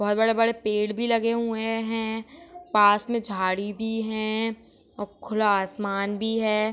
बहोत बड़े बड़े पेड़ भी लगे हुए है पास में झाड़ी भी है और खुला आसमान भी है।